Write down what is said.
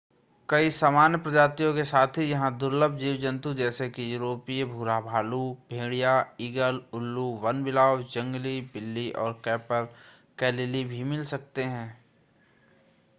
कई सामान्य प्रजातियों के साथ ही यहां दुलर्भ जीव-जंतु जैसे कि यूरोपीय भूरा भालू भेड़िया ईगल उल्लू वनबिलाव जंगली बिल्ली और कैपरकैलिली भी मिल सकते हैं